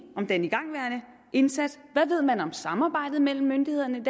om den igangværende indsats hvad ved man om samarbejdet mellem myndighederne i